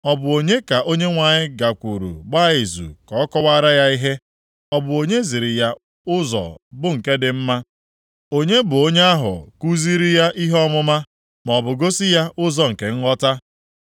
Ọ bụ onye ka Onyenwe anyị gakwuru gbaa izu ka ọ kọwaara ya ihe, ọ bụ onye ziri ya ụzọ bụ nke dị mma? Onye bụ onye ahụ kuziri ya ihe ọmụma, maọbụ gosi ya ụzọ nke nghọta?